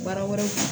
Baara wɛrɛw